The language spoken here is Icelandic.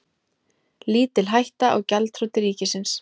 Lítil hætta á gjaldþroti ríkisins